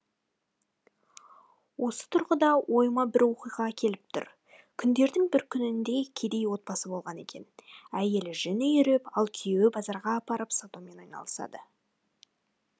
осы тұрғыда ойыма бір оқиға келіп тұр күндердін бір күнінде кедей отбасы болған екен әйелі жүн иіріп ал күйеуі базарға апарып сатумен айналысады